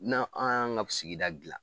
N'a' a' y'an ŋa sigida dilan